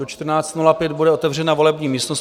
Do 14.05 bude otevřena volební místnost.